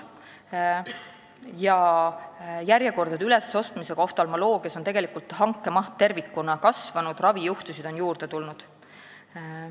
Ja järjekordade ülesostmise tõttu oftalmoloogias on tegelikult hanke maht tervikuna kasvanud, ravijuhtusid on juurde tulnud.